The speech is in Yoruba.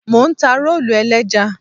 Mò ń ta rólù ẹlẹ́ja.